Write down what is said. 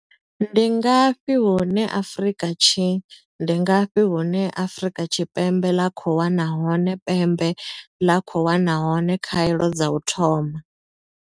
Ndi ngafhi hune Afrika Tshi Ndi ngafhi hune Afrika Tshi pembe ḽa khou wana hone pembe ḽa khou wana hone khaelo dza u thoma?